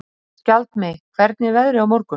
Skjaldmey, hvernig er veðrið á morgun?